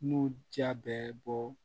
N'u ja bɛ bɔ